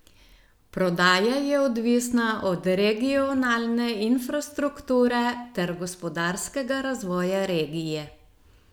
Prodaja je odvisna od regionalne infrastrukture ter gospodarskega razvoja regije.